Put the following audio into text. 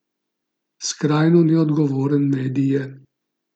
Skrajno neodgovoren medij je.